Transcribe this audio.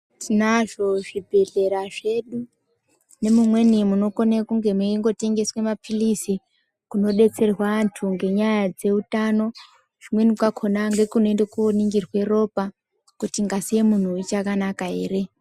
Tinazvo zvibhedhlera zvedu nemumweni kunotengeswa mapilizi kunodetserwa antu ngenyaya dzeutano kumweni kwakhona ngekunoningirwa ropa kuti ngazi yemuntu ichakanaka ere.